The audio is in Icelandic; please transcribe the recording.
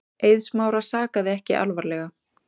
Eið Smára sakaði ekki alvarlega.